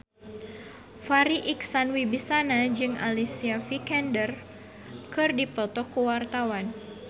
Farri Icksan Wibisana jeung Alicia Vikander keur dipoto ku wartawan